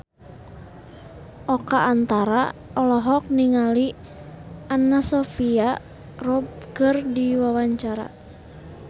Oka Antara olohok ningali Anna Sophia Robb keur diwawancara